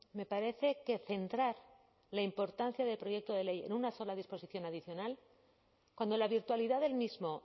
me parece que centrar la importancia del proyecto de ley en una sola disposición adicional cuando la virtualidad del mismo